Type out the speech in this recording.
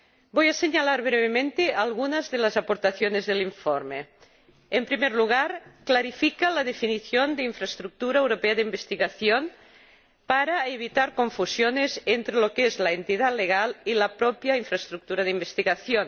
Voy a señalar brevemente algunas de las aportaciones del informe en primer lugar, clarifica la definición de infraestructura europea de investigación para evitar confusiones entre lo que es la entidad jurídica y la propia infraestructura de investigación